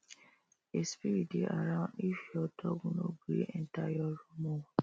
a spirit dey around if your dog no gree enter your room o